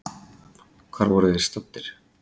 Hvar voru þeir staddir?